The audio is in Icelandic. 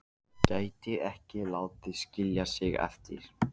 Gæti ekki látið skilja sig eftir.